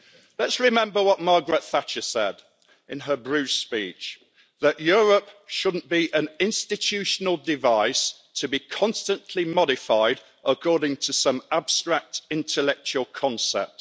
Let's remember what Margaret Thatcher said in her Bruges speech, that Europe shouldn't be an institutional device to be constantly modified according to some abstract intellectual concept.